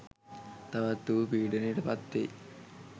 තවත් ඌ පීඩනයට පත්වෙයි